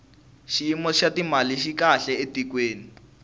xiyimo xa timali xi kahle etikweni